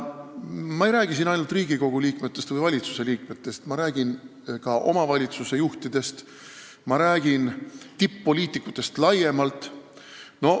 Ma ei räägi siin ainult Riigikogu või valitsuse liikmetest, ma räägin ka omavalitsusjuhtidest, ma räägin tipp-poliitikutest laiemalt.